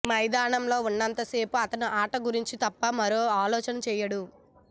మైదానంలో ఉన్నంత సేపు అతను ఆట గురించి తప్ప మరో ఆలోచన చేయడు